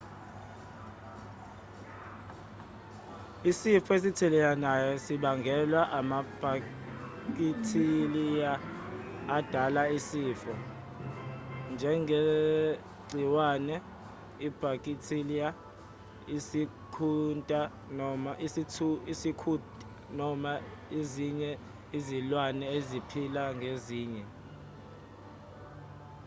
isifo esithelelanayo sibangelwa amabhakithiliya adala izifo njengegciwane ibhakithiliya isikhunta noma ezinye izilwane eziphila ngezinye